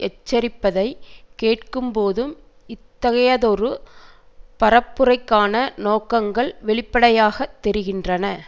எச்சரிப்பதை கேட்கும் போதும் இத்தகையதொரு பரப்புரைக்கான நோக்கங்கள் வெளிப்படையாக தெரிகின்றன